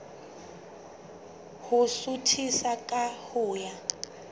ho suthisa ka ho ya